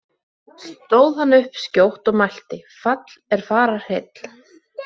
Stóð hann upp skjótt og mælti: Fall er fararheill!